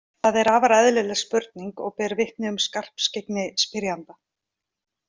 Þetta er afar eðlileg spurning og ber vitni um skarpskyggni spyrjanda.